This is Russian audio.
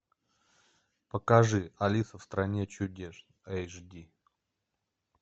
покажи алиса в стране чудес эйч ди